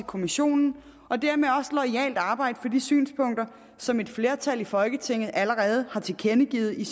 kommissionen og dermed også loyalt arbejde for de synspunkter som et flertal i folketinget allerede har tilkendegivet i